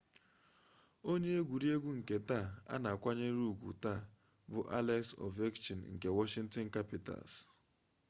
onye egwuregwu nke taa a na-akwanyere ugwu taa bụ alex ovechkin nke washington capitals